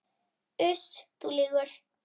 Uss, þú lýgur.